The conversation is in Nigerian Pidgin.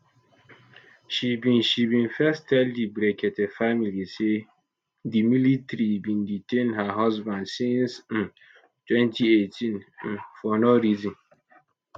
she bin she bin first tell di brekete family say di military bin detain her husband since um 2018 um for no reason